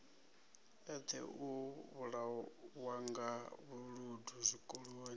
eṱhe u vhulawanga vhuludu zwikoloni